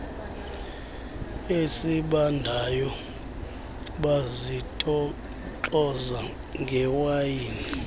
esibandayo bazitoxoza ngewayini